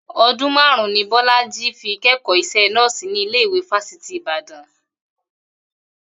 O̩dún márùn-ún ni Bó̩lájí fi ké̩kò̩ó is̩é̩ nó̩ò̩sì ní ilé ìwé Fásitì Ìbàdàn